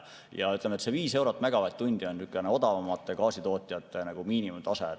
Ja ütleme, see 5 eurot megavatt-tunni kohta on odavamate gaasitootjate miinimumtase.